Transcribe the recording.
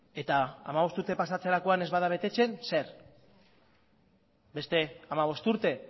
eta hamabost urte pasatzerakoan ez bada betetzen zer beste hamabost urte